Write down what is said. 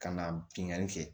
Ka na bingani kɛ